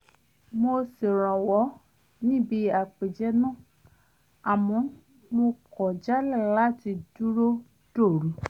mo ṣèrànwọ́ níbi àpèjẹ náà àmọ́ mo kọ̀ jálẹ̀ láti dúró dòru